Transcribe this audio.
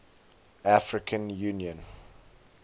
african union au